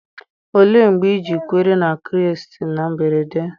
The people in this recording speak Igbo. Olee mgbe ị ji kwere na Kraịst na mberede?